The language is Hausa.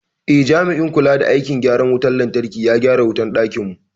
Eh, jami'in kula da aikin gyaran wutar lantarki ya gyara wutar dakinmu.